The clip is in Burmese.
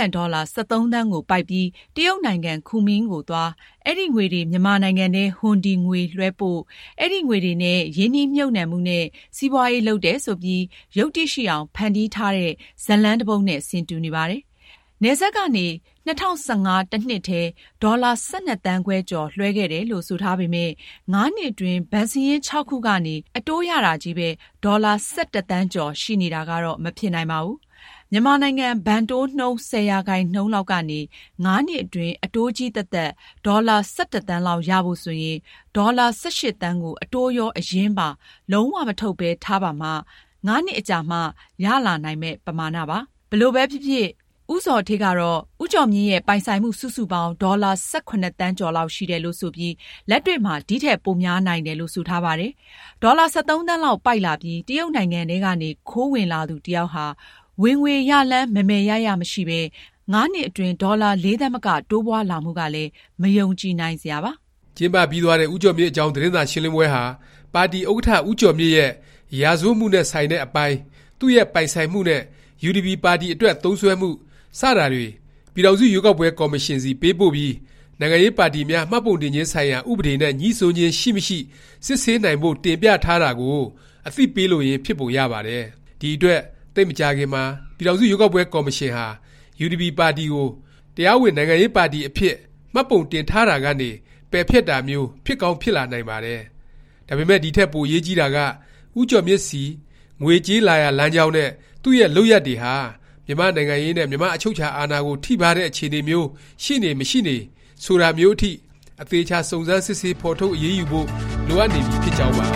န်ဒေါ်လာ ၁၃ သန်းကို ပိုက်ပြီး တရုတ်နိုင်ငံ ကူမင်းကိုသွား၊ အဲဒီ ငွေတွေ မြန်မာနိုင်ငံထဲ ဟွန်ဒီ ငွေလွဲှပို့၊ အဲဒီ ငွေတွေနဲ့ ရင်းနှီးမြှုပ်နှံမှုနဲ့ စီးပွားရေး လုပ်တယ် ဆိုပြီး ယုတ္တိရှိအောင် ဖန်တီးထားတဲ့ ဇာတ်လမ်း တစ်ပုဒ်နဲ့ ဆင်တူနေပါတယ်။ နယ်စပ်ကနေ ၂၀၁၅ တစ်နှစ်ထဲ ဒေါ်လာ ၁၂ သန်းခွဲကျော် လွဲှခဲ့တယ်လို့ ဆိုထားပေမယ့် ၅ နှစ်အတွင်း ဘဏ်စာရင်း ၆ ခုကနေ အတိုးရတာချည်းပဲ ဒေါ်လာ ၁၁ သန်းကျော် ရှိနေတာကတော့ မဖြစ်နိုင်ပါဘူး။ မြန်မာနိုင်ငံ ဘဏ်တိုးနှုန်း ၁၀% လောက်ကနေ ၅ နှစ်အတွင်း အတိုးချည်းသက်သက် ဒေါ်လာ ၁၁ သန်းလောက် ရဖို့ ဆိုရင် ဒေါ်လာ ၁၈ သန်းကို အတိုးရော၊ အရင်းပါ လုံး၀ မထုတ်ပဲ ထားပါမှ ၅နှစ်အကြာမှာ ရလာနိုင်မယ့် ပမာဏပါ။ ဘယ်လိုပဲဖြစ်ဖြစ် ဦးဇော်ဌေးကတော့ ဦးကျော်မြင့်ရဲ့ ပိုင်ဆိုင်မှု စုစုပေါင်း ဒေါ်လာ ၁၇ သန်းကျော်လောက် ရှိတယ်လို့ ဆိုပြီး လက်တွေ့မှာ ဒီထက် ပိုများနိုင်တယ်လို့ ဆိုထားပါတယ်။ ဒေါ်လာ ၁၃ သန်းလောက် ပိုက်လာပြီး တရုတ်နိုင်ငံထဲကနေ ခိုးဝင်လာသူတစ်ယောက်ဟာ ဝင်ငွေရလမ်း မယ်မယ်ရရ မရှိပဲ ၅ နှစ်အတွင်း ဒေါ်လာ ၄ သန်းမက တိုးပွားလာမှုကလည်း မယုံကြည်နိုင်စရာပါ။ ကျင်းပပြီးသွားတဲ့ ဦးကျော်မြင့်အကြောင်း သတင်းစာရှင်းလင်းပွဲဟာ ပါတီ ဥက္ကဌ ဦးကျော်မြင့်ရဲ့ ရာဇဝတ်မှုနဲ့ ဆိုင်တဲ့အပိုင်း၊ သူ့ရဲ့ ပိုင်ဆိုင်မှုနဲ့ UDP ပါတီ အတွက် သုံးစွဲမှု စတာတွေ ပြည်ထောင်စု ရွေးကောက်ပွဲ ကော်မရှင်ဆီ ပေးပို့ပြီး နိုင်ငံရေးပါတီများ မှတ်ပုံတင်ခြင်း ဆိုင်ရာ ဥပဒေ နဲ့ ငြိစွန်းခြင်း ရှိမရှိ စစ်ဆေးနိုင်ဖို့ တင်ပြထားတာကို အသိပေးလိုရင်း ဖြစ်ပုံရပါတယ်။ ဒီအတွက် သိပ်မကြာခင်မှာ ပြည်ထောင်စု ရွေးကောက်ပွဲ ကော်မရှင်ဟာ UDP ပါတီကို တရားဝင် နိုင်ငံရေးပါတီ အဖြစ် မှတ်ပုံတင်ထားတာကနေ ပယ်ဖျက်တာမျိုး ဖြစ်ကောင်း ဖြစ်လာနိုင်ပါတယ်။ ဒါပေမယ့် ဒီထက် ပိုအရေးကြီးတာက ဦးကျော်မြင့်ဆီ ငွေကြေး လာရာလမ်းကြောင်းနဲ့ သူ့ရဲ့ လုပ်ရပ်တွေဟာ မြန်မာ့နိုင်ငံရေးနဲ့ မြန်မာ့ အချုပ်အခြာအာဏာကို ထိပါးတဲ့ အခြေအနေမျိုး ရှိနေ၊ မရှိနေ ဆိုတာမျိုးအထိ အသေအခြာ စုံစမ်းစစ်ဆေး၊ဖော်ထုတ် အရေးယူဖို့ လိုအပ်နေပြီ ဖြစ်ကြောင်းပါ